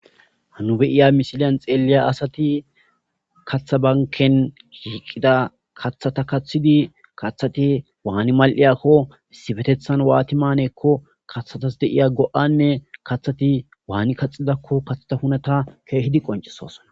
hanu beyiya misiliyan xeeliya asati kathabanken hiiqida kaththata kaththidi kaththati waani mal7iyakko sifetethan waatimanekko kaththatas deiya go7anne kathati waani kaxidakko kathata hunata keehidi qoncesosona